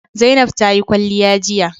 Zainab ta yi kwalliya jiya